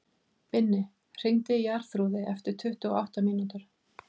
Binni, hringdu í Jarþrúði eftir tuttugu og átta mínútur.